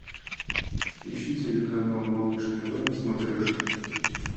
ищи телеканал малыш тв на смотрешке